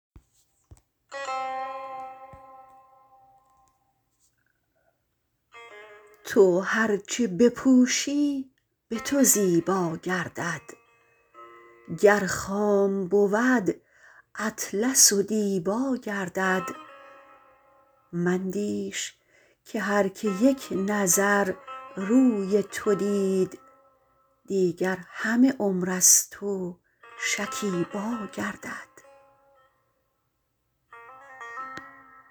تو هر چه بپوشی به تو زیبا گردد گر خام بود اطلس و دیبا گردد مندیش که هر که یک نظر روی تو دید دیگر همه عمر از تو شکیبا گردد